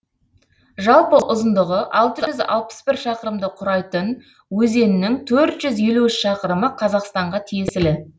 жалпы ұзындығы алты жүз алпыс бір шақырымды құрайтын өзеннің төрт жүз елу үш шақырымы қазақстанға тиесілі